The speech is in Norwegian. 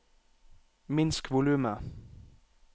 minsk volumet